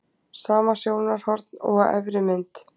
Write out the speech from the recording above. sama sjónarhorn og á efri mynd